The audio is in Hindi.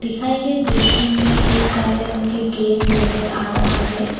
दिखाए गए दृश्य में एक काले रंग का गेट नजर आ रहा है। ।